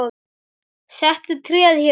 Settu tréð hér.